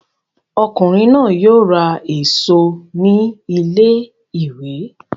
Ọkùnrin náà yóò ra èso ní ilé-ìwé!